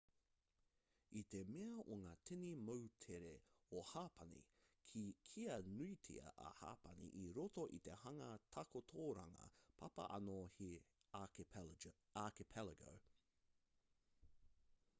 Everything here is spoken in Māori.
i te mea o ngā tini moutere o hapani ka kīa nuitia a hapani i roto i te hanga takotoranga papa anō he archipelago